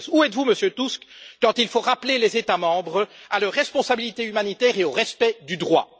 2016? Où êtes vous Monsieur Tusk, lorsqu'il faut rappeler les États membres à leur responsabilité humanitaire et au respect du droit?